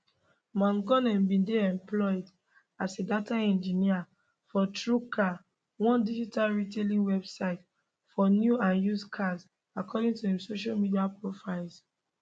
mangione bin dey employed as a data engineer for truecar one digital retailing website for new and used cars according to im social media profiles